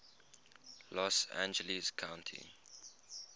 los angeles county